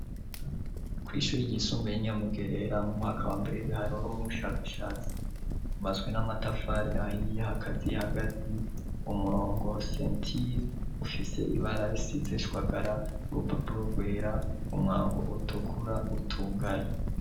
Kw'ishuri ry'isumba ye ninyamugerera mu mwaka wa brebe haroro mw'ubushakashatsi, ubaswe n'amatafari ahiye hakaziye hagati, umurongo sentile ufise ibara risizeshwagara urupapulo rwera umwango utukura utugaye.